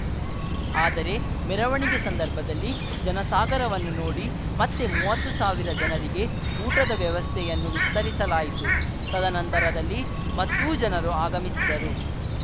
ಆದರೆ ಮೆರವಣಿಗೆ ಸಂದರ್ಭದಲ್ಲಿ ಜನಸಾಗರವನ್ನು ನೋಡಿ ಮತ್ತೆ ಮುವತ್ತು ಸಾವಿರ ಜನರಿಗೆ ಊಟದ ವ್ಯವಸ್ಥೆಯನ್ನು ವಿಸ್ತರಿಸಲಾಯಿತು ತದನಂತರದಲ್ಲಿ ಮತ್ತೂ ಜನರು ಆಗಮಿಸಿದರು